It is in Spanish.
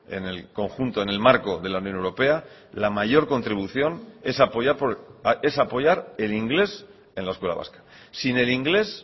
en el conjunto en el marco de la unión europea la mayor contribución es apoyar es apoyar el inglés en la escuela vasca sin el inglés